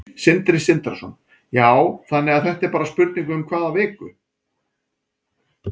Sindri Sindrason: Já, þannig að þetta er bara spurning um hvað viku?